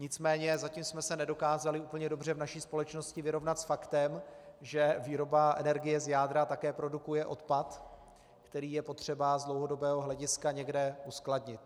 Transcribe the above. Nicméně zatím jsme se nedokázali úplně dobře v naší společnosti vyrovnat s faktem, že výroba energie z jádra také produkuje odpad, který je potřeba z dlouhodobého hlediska někde uskladnit.